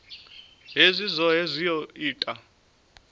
hezwi zwohe zwi o ita